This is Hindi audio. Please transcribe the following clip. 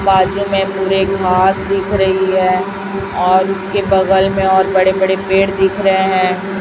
बाजू में पूरे घास दिख रही है और उसके बगल में और बड़े बड़े पेड़ दिख रहे हैं।